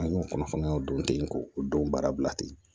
An y'o kunnafoniyaw don ten k'o don baara bila ten